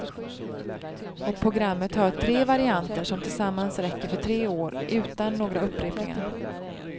Och programmet har tre varianter som tillsammans räcker för tre år, utan några upprepningar.